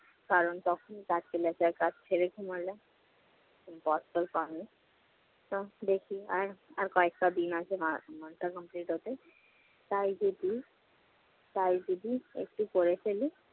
কারণ তখন কাজ চলে আসে, আর কাজ ছেড়ে ঘুমালে তো দেখি আর~ আর কয়েকটা দিন আছে মা~মাসটা complete হতে। তাই যদি~ তাই যদি একটু করে ফেলি